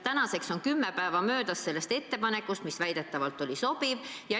Tänaseks on kümme päeva sellest ettepanekust, mis väidetavalt oli sobiv, möödas.